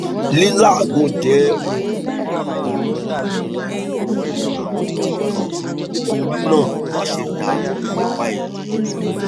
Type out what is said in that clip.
lilàágùn jẹ ohun tí kó burú nínú burú nínú àwọn ọmọ kan nítorí náà máṣe dààmú nípa èyí